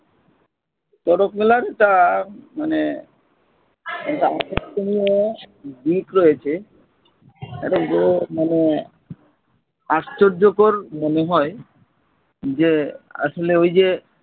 চড়ক মেলার একটা মানে একটা আকর্ষণীয় দিক রয়েছে একটা তো মানে আশ্চর্যকর মনে হয় যে আসলে ঐ যে